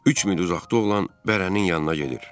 Üç mil uzaqda olan bərənin yanına gedir.